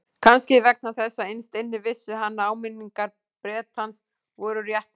Kannski vegna þess að innst inni vissi hann að áminningar Bretans voru réttmætar.